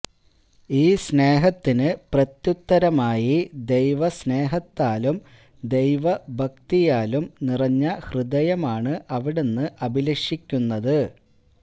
ഈ സ്നേഹത്തിന് പ്രത്യുത്തരമായി ദൈവസ്നേഹത്താലും ദൈവഭക്തിയാലും നിറഞ്ഞ ഹൃദയമാണ് അവിടുന്ന് അഭിലഷിക്കുന്നത്